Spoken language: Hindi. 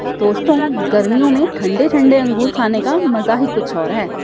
दोस्तों गर्मियो में ठंडे-ठंडे अंगूर खाने का मजा ही कुछ और है।